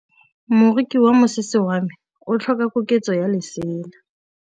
Moroki wa mosese wa me o tlhoka koketsô ya lesela.